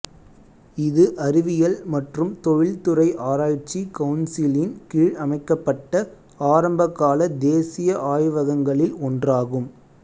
இது அறிவியல் மற்றும் தொழில்துறை ஆராய்ச்சி கவுன்சிலின் கீழ் அமைக்கப்பட்ட ஆரம்பகால தேசிய ஆய்வகங்களில் ஒன்றாகும்